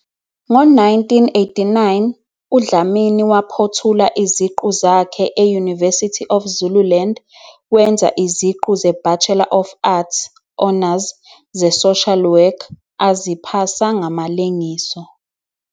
Ngo-1989, uDlamini waphothula iziqu zakhe e-University of Zululand wenza iziqu zeBachelor of Arts, Honours, zeSocial Work aziphasa ngamalengiso.